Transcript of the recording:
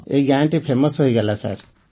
ଏହି ଗାଁଟି ଫେମସ୍ ହେଇଗଲା ସାର୍